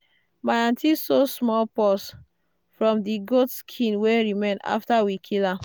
my aunty sew small purse from the goat skin wey remain after we kill am.